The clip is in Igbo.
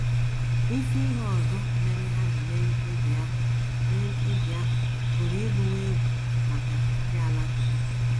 Isi ihe ọzọ mere ha ji mee mkpebi ahụ mee mkpebi ahụ pụrụ ịbụwo egwu maka ndị Alakụba.